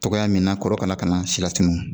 Togoya min na kɔrɔkara kana silatunu